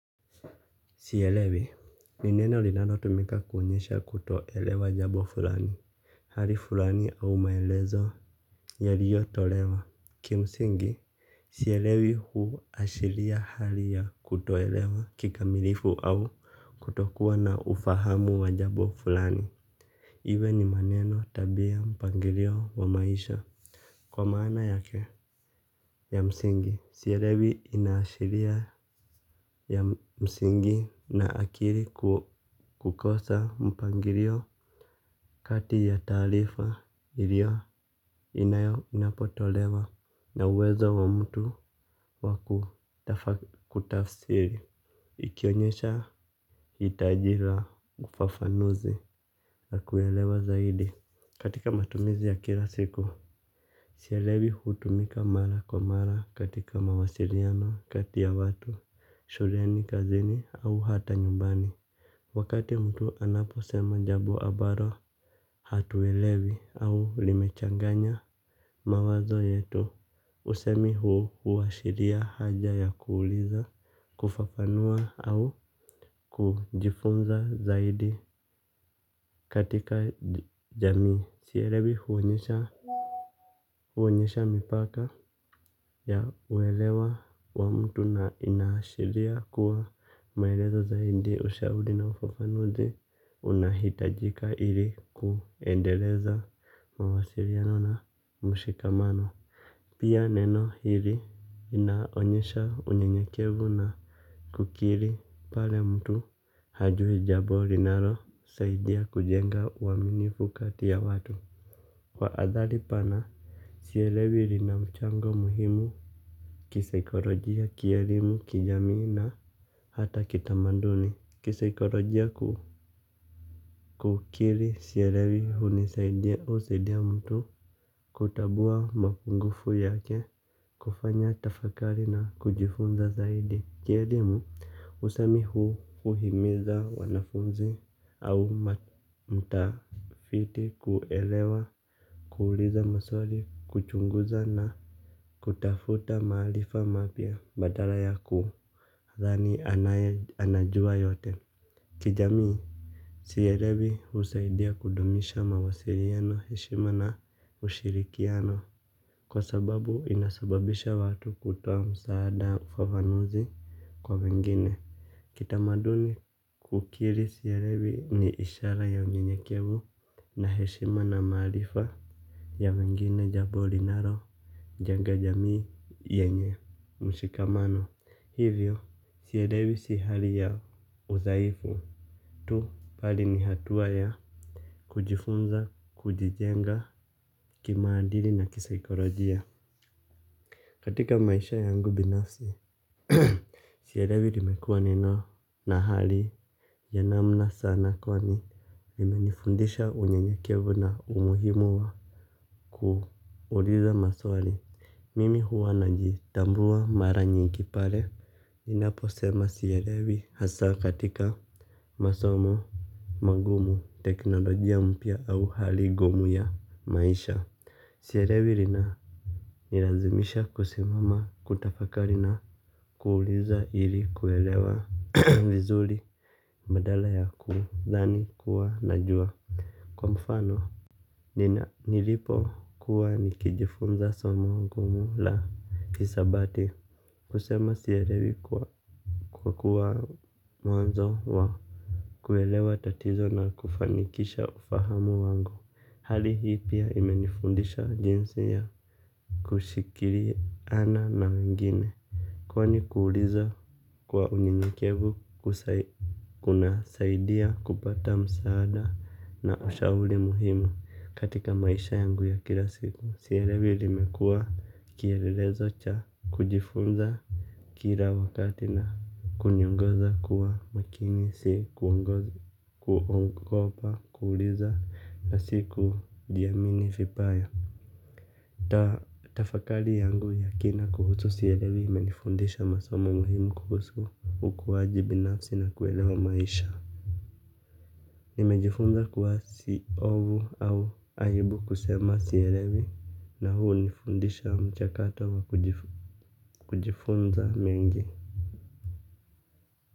Sielewi ni neno linalotumika kuonyesha kutoelewa jambo fulani, hali fulani au maelezo yaliyotolewa. Kimsingi, sielewi huashiria hali ya kutoelewa kikamilifu au kutokuwa na ufahamu wa jambo fulani. Iwe ni maneno, tabia, mpangilio wa maisha. Kwa maana yake ya msingi, sielewi inaashiria ya msingi na akili kukosa mpangilio kati ya taarifa inapotolewa na uwezo wa mtu wa kuitafsiri. Ikionyesha hitaji la ufafanuzi na kuelewa zaidi katika matumizi ya kila siku. Sielewi hutumika mara kwa mara katika mawasiliano kati ya watu, shuleni, kazini au hata nyumbani. Wakati mtu anaposema jambo ambalo hatuelewi au limechanganya mawazo yetu, usemi huu huashiria haja ya kuuliza, kufafanua au kujifunza zaidi. Katika jamii sielewi huonyesha huonyesha mipaka ya uelewa wa mtu na inaashiria kuwa maelezo zaidi, ushauri na ufafanuzi unahitajika ili kuendeleza mawasiliano na mshikamano. Pia neno hili linaonyesha unyenyekevu na kukiri pale mtu hajui jambo, linalosaidia kujenga uaminifu kati ya watu. Kwa athari pana, sielewi lina mchango muhimu. Kisaikolojia, kielimu, kijamii na hata kitamaduni. Kukiri sielewi hunisaidia, husaidia mtu kutambua mapungufu yake, kufanya tafakari na kujifunza zaidi. Kielimu, usemi huu huhimiza wanafunzi au watafiti kuelewa. Kuuliza maswali, kuchunguza na kutafuta maarifa mapya badala ya ku kudhani anajua yote. Kijamii, sielewi husaidia kudumisha mawasiliano, heshima na ushirikiano. Kwa sababu inasababisha watu kutoa msaada, ufafanuzi kwa mingine. Kitamaduni, kukiri sielewi ni ishara ya unyenyekevu na heshima na maarifa. Ya wengine, jambo linalo jenga jamii yenye mshikamano, hivyo sielewi si hali ya udhaifu tu, bali ni hatua ya kujifunza, kujijenga kimaadili na kisaikolojia. Katika maisha yangu binafsi, sielewi limekuwa neno na hali ya namna sana kwani linimenifundisha unyenyekevu na umuhimu wa kuuliza maswali, mimi huwa najitambua mara nyingi pale. Ninaposema sielewi, hasa katika masomo magumu, teknolojia mpya au hali ngumu ya maisha. Sielewi inanilazimisha kusimama, kutafakari na kuuliza ili kuelewa vizuri. Badala ya kudhani kuwa najua. Kwa mfano nilipokuwa nikijifunza somo ngumu la Hisabati Kusema sielewi kuwa mwanzo wa kuelewa tatizo na kufanikisha ufahamu wangu. Hali hii pia imenifundisha jinsi ya kushikiliana na wengine kwani kuuliza kwa unyenyekevu kunasaidia kupata msaada na ushauri muhimu katika maisha yangu ya kila siku. Sielewi limekuwa kielelezo cha kujifunza. Kila wakati na kuniongoza kuwa makini, si kuogopa kuuliza na sijiamini vibaya. Tafakari yangu ya kina kuhusu sielewi imenifundisha masomo muhimu kuhusu ukuaji binafsi na kuelewa maisha. Nimejifunza kwa si hofu au aibu kusema sielewi. Na hii hunifundisha mchakato wa kujifunza mengi.